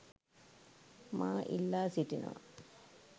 මා ඉල්ලා සිටිනවා.